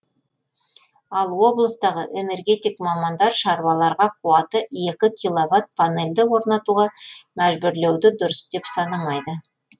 ал облыстағы энергетик мамандар шаруаларға қуаты екі киловатт панельді орнатуға мәжбүрлеуді дұрыс деп санамайды